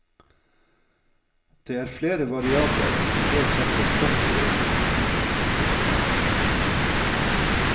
Det er flere variabler som bør trekkes kraftig inn.